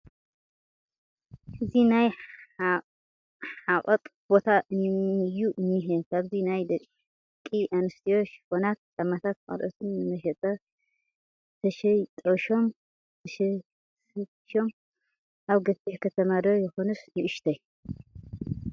እዚ ናይ ሐቐጥ ቦታ እዩ እንሄ ፡ ኣብዚ ናይ ደቒ ኣነስትዮ ሽፎናት ፣ ጫማታትን ኻልኦትን ንመሸጣ ተሰጢሾም ኣለዉ፡ ኣብ ገፊሕ ከተማ 'ዶ ይኾንስ ንኡሽተይ ?